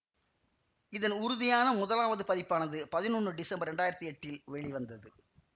இதன் உறுதியான முதலாவது பதிப்பானது பதினொன்னு டிசம்பர் இரண்டாயிரத்தி எட்டில் வெளிவந்தது